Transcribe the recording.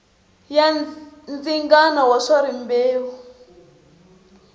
ya ndzingano wa swa rimbewu